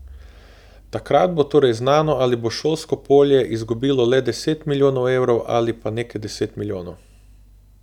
Takrat bo torej znano, ali bo šolsko polje izgubilo le deset milijonov evrov ali pa nekaj deset milijonov.